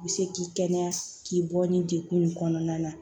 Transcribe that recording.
I bɛ se k'i kɛnɛya k'i bɔ ni degun in kɔnɔna na